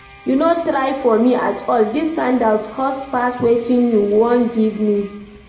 You no try for me at all, dis sandals cost past wetin you wan give me